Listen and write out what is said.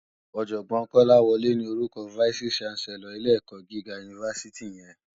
Òjògbòn Kolawole ni órúkò fáìsí ṣánsèlòr ilé èkò gigá unifásití yèn